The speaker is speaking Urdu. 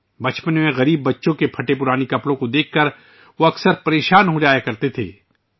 بچپن میں وہ اکثر غریب بچوں کے پھٹے ہوئے کپڑے دیکھ کر پریشان ہو جاتے تھے